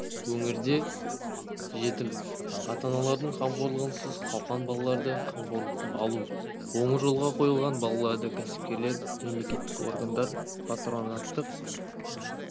өңірде жетім ата-аналардың қамқорлығынсыз қалған балаларды қамқорлыққа алу оң жолға қойылған балаларды кәсіпкерлер мемлекеттік органдар патронаттық